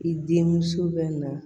I den muso bɛ na